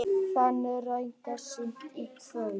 Dálítil rigning seint í kvöld